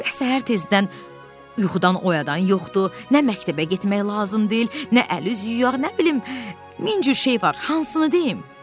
Nə səhər tezdən yuxudan oyadan yoxdur, nə məktəbə getmək lazım deyil, nə əl-üz yuyar, nə bilim min cür şey var, hansını deyim?"